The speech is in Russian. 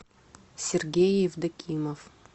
сергей евдокимов